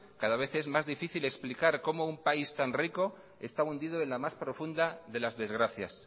cada vez es más difícil explicar como un país tan rico está hundido en la más profunda de las desgracias